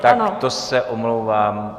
Tak to se omlouvám.